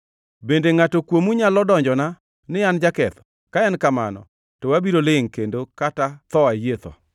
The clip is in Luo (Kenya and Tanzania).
Bende ngʼato kuomu nyalo donjona ni an jaketho? Ka en kamano, to abiro lingʼ kendo kata tho ayie tho.